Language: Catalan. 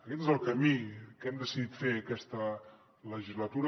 aquest és el camí que hem decidit fer aquesta legislatura